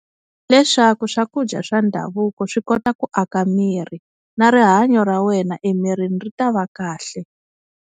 Leswaku swakudya swa ndhavuko swi kota ku aka miri na rihanyo ra wena emirini ri ta va kahle.